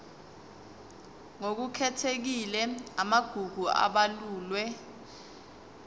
ngokukhethekile amagugu abalulwe